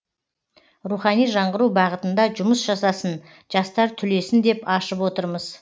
рухани жаңғыру бағытында жұмыс жасасын жастар түлесін деп ашып отырмыз